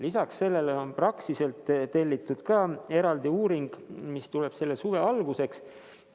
Lisaks on Praxiselt tellitud eraldi uuring, mis valmib selle suve alguseks.